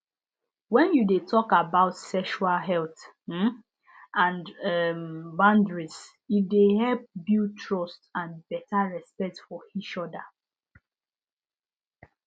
when you de talk about sexual health um and um boundaries e de help build trust and better respect for each other